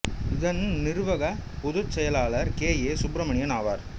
இதன் நிறுவக பொதுச் செயலாளர் கே ஏ சுப்பிரமணியம் ஆவார்